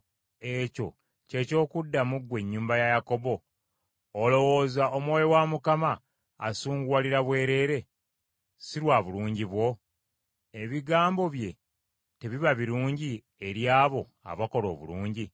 Ekyo kye ky’okuddamu ggwe ennyumba ya Yakobo? Olowooza Omwoyo wa Mukama asunguwalira bwereere, si lwa bulungi bwo? Ebigambo bye tebiba birungi eri abo abakola obulungi?